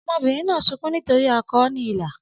Ọmọbìnrin náà ń sunkún nítorí ó kọ ọ́ ní ilà